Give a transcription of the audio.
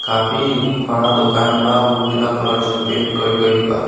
काफी बड़ा दुकान बा उजाला कलर से पेंट कइ गइल बा।